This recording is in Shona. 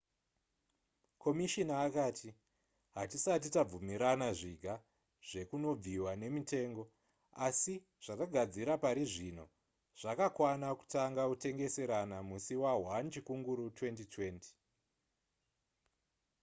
komishina akati hatisati tabvumirana zviga zvekunobviwa nemitengo asi zvatagadzira parizvino zvakakwana kutanga kutengeserana musi wa1 chikunguru 2020